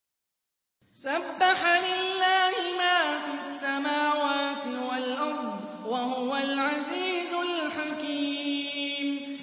سَبَّحَ لِلَّهِ مَا فِي السَّمَاوَاتِ وَالْأَرْضِ ۖ وَهُوَ الْعَزِيزُ الْحَكِيمُ